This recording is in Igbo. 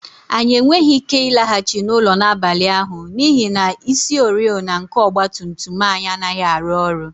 Anyị enweghị ike ịlaghachi n'ụlọ n'abalị ahụ n'ihi na isioriọna nke ọgba tum tum anyị anaghị arụ ọrụ